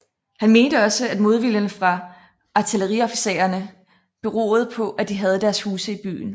Han mente også at modviljen fra artilleriofficererne beroede på at de havde deres huse i byen